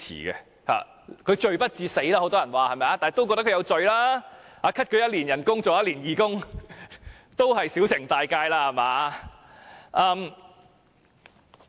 很多人說她罪不至死，但也認為她是有罪的，那麼削減她1年薪酬，要她當1年義工，也算是小懲大誡吧？